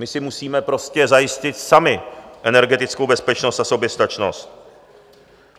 My si musíme prostě zajistit sami energetickou bezpečnost a soběstačnost.